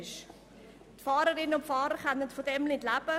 Die Fahrerinnen und Fahrer können davon nicht leben.